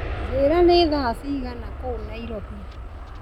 njĩĩra nĩ thaa cigana kũu nairobi